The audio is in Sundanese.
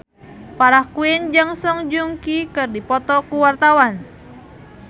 Farah Quinn jeung Song Joong Ki keur dipoto ku wartawan